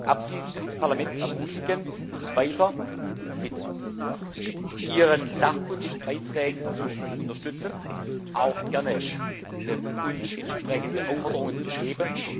Abschließend will ich das Parlament ermutigen, uns weiter mit ihren sachkundigen Beiträgen zu unterstützen, uns auch gerne entsprechende Aufforderungen zu geben.